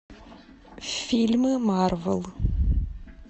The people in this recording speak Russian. фильмы марвел